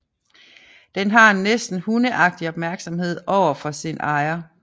Den har en næsten hundeagtig opmærksomhed over for sin ejer